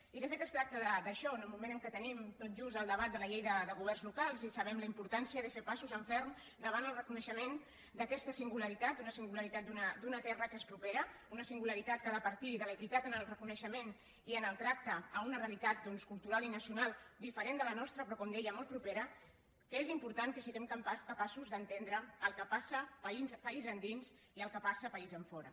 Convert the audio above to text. i de fet es tracta d’això en el moment en què tenim tot just el debat de la llei de governs locals i sabem la importància de fer passos en ferm davant el reconeixement d’aquesta singularitat una singularitat d’una terra que és propera una singularitat que ha de partir de l’equitat en el reconeixement i en el tracte a una realitat doncs cultural i nacional diferent de la nostra però com deia molt propera que és important que siguem capaços d’entendre el que passa país endins i el que passa país enfora